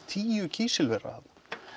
tíu kísilvera þarna